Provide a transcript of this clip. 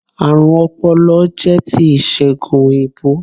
Àrùn ọpọlọ jẹ́ ti ìsègùn òyìnbó